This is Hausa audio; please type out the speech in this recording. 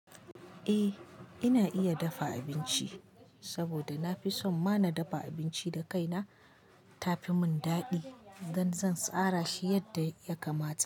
Eh ina iya dafa abinci saboda na fi so ma na dafa abinci da kaina ta fi mun dadi dan zan tsara shi yadda ya kamata.